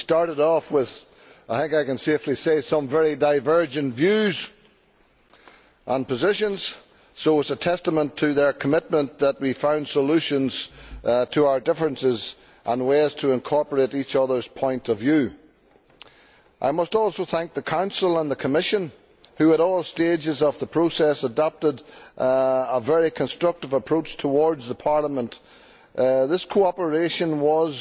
We started off with I think I can safely say some very divergent views and positions, so it is a testament to their commitment that we found solutions to our differences and ways to incorporate each other's point of view. I must also thank the Council and the Commission, who at all stages of the process adopted a very constructive approach towards Parliament. This cooperation was